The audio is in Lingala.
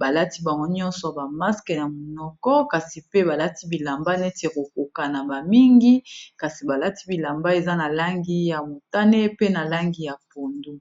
balati bango nyonso bamaske na monoko kasi pe balati bilamba neti ekokoka na bamingi kasi balati bilamba eza na langi ya mutane pe na langi ya pundu